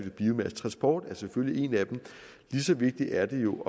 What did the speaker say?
biomasse transport er selvfølgelig en af dem lige så vigtigt er det jo